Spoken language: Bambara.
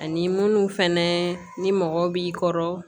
Ani munnu fɛnɛ ni mɔgɔ b'i kɔrɔ